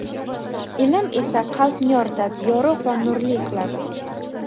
ilm esa qalbni yoritadi – yorugʼ va nurli qiladi;.